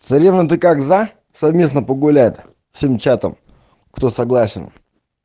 царевна ты как за совместно погулять всем чатам кто согласен